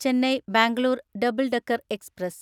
Chennai Bangalore double decker express